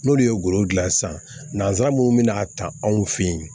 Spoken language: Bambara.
N'olu ye golo gilan sisan nanzsara mun bɛ n'a ta anw fɛ yen